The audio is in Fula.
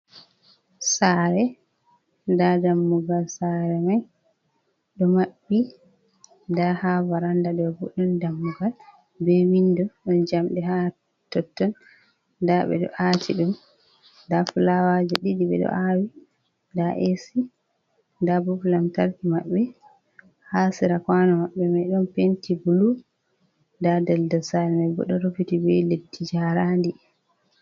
Sare, da dammugal sare mai ɗo maɓɓi. Da ha varanda mai boɗon dammugal be windo ɗon jamɗe ha totton, da ɓe ɗo a ti ɗum, da fulawaje ɗiɗi, ɓe ɗo awi da asi, da bop lamtarki maɓɓe, ha sera kauno maɓɓe mai ɗon penti bulu da daldal sare mai bo ɗo rufiti be leddi jarandi.